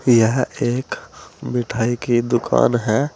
एक मिठाई की दुकान है।